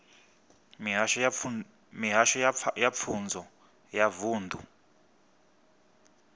mihasho ya pfunzo ya vunḓu